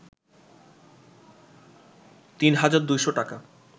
৩ হাজার ২০০ টাকা